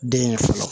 Den ye fɔlɔ